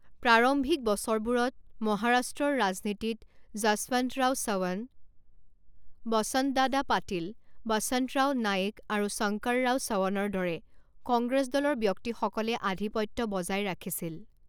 প্ৰাৰম্ভিক বছৰবোৰত, মহাৰাষ্ট্ৰৰ ৰাজনীতিত যশৱন্তৰাও চৱন, বসন্তদাদা পাটিল, বসন্তৰাও নায়েক আৰু শংকৰৰাও চৱনৰ দৰে কংগ্ৰেছ দলৰ ব্যক্তিসকলে আধিপত্য বজাই ৰাখিছিল।